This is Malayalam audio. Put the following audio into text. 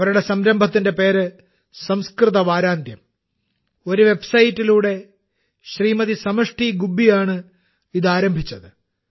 അവരുടെ സംരംഭത്തിന്റെ പേര് - സംസ്കൃത വാരാന്ത്യം ഒരു വെബ്സൈറ്റിലൂടെ ശ്രീമതി സമഷ്ടി ഗുബ്ബിയാണ് ഇത് ആരംഭിച്ചത്